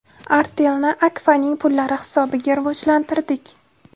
Artel’ni Akfa’ning pullari hisobiga rivojlantirdik.